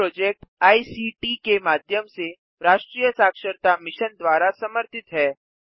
यह project ICT के माध्यम से राष्ट्रीय साक्षरता मिशन द्वारा समर्थित है